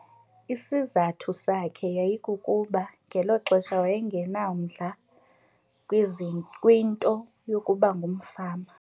Isizathu sakhe yayikukuba ngelo xesha waye ngenamdla kwinto yokuba ngumfama.